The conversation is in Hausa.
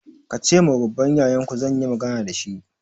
Ka ce ma babban yayanku zan yi magana da shi!